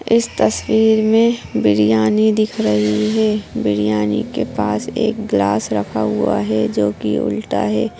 इस तस्वीर में बिरयानी दिख रही है बिरयानी के पास एक गिलास रखा हुआ है जो कि उल्टा है।